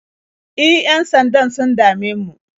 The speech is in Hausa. E, yan-sandan sun dame mu.